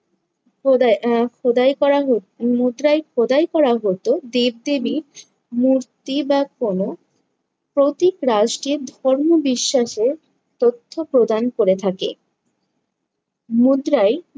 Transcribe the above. খোদা~ আহ খোদাই করা হ~, মুদ্রায় খোদাই করা হতো দেব-দেবীর মূর্তি বা কোনো প্রতীক রাষ্টের ধর্ম বিশ্বাসের তথ্য প্রদান করে থাকে। মুদ্রায়